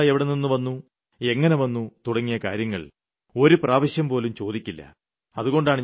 ഇത്രയും പൈസ എവിടെനിന്നു വന്നു എങ്ങിനെ വന്നു തുടങ്ങിയ കാര്യങ്ങൾ ഒരുപ്രാവശ്യംപോലും ചോദിക്കില്ല